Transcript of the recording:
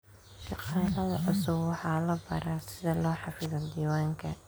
Shaqaalaha cusub waxaa la baraa sida loo xafido diiwaanka.